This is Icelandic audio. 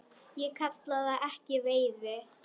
Ég kalla það ekki veiði.